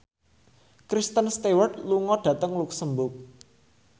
Kristen Stewart lunga dhateng luxemburg